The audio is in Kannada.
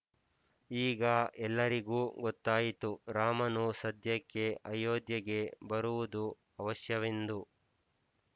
ಈಗ ಎಲ್ಲರಿಗೂ ಗೊತ್ತಾಯಿತು ರಾಮನು ಸದ್ಯಕ್ಕೆ ಅಯೋಧ್ಯೆಗೆ ಬರುವುದು ಆವಶ್ಯವೆಂದು